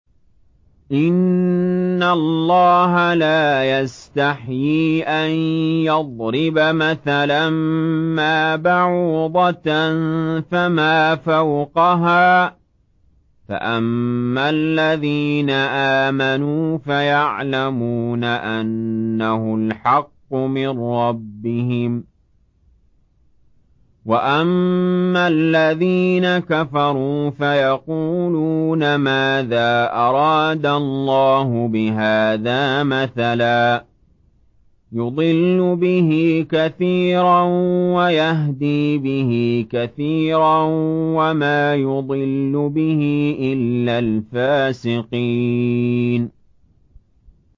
۞ إِنَّ اللَّهَ لَا يَسْتَحْيِي أَن يَضْرِبَ مَثَلًا مَّا بَعُوضَةً فَمَا فَوْقَهَا ۚ فَأَمَّا الَّذِينَ آمَنُوا فَيَعْلَمُونَ أَنَّهُ الْحَقُّ مِن رَّبِّهِمْ ۖ وَأَمَّا الَّذِينَ كَفَرُوا فَيَقُولُونَ مَاذَا أَرَادَ اللَّهُ بِهَٰذَا مَثَلًا ۘ يُضِلُّ بِهِ كَثِيرًا وَيَهْدِي بِهِ كَثِيرًا ۚ وَمَا يُضِلُّ بِهِ إِلَّا الْفَاسِقِينَ